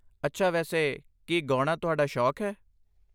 ਅੱਛਾ ਵੈਸੇ, ਕੀ ਗਾਉਣਾ ਤੁਹਾਡਾ ਸ਼ੌਕ ਹੈ?